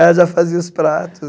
Ela já fazia os pratos.